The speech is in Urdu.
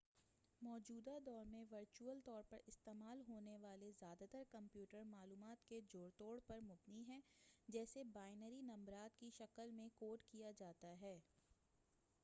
موجودہ دور میں ورچول طور پر استعمال ہونے والے زیادہ تر کمپیوٹر معلومات کے جوڑ توڑ پر مبنی ہے جسے بائنری نمبرات کی شکل میں کوڈ کیا جاتا ہے